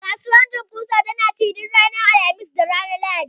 Kasuwar janguza tana ci duk ranar Alhamis da Lahadi.